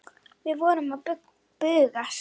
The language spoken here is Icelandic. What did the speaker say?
Við vorum að bugast.